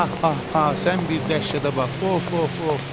Ah, ah, ah, sən bir dəhşətə bax, of, of, of.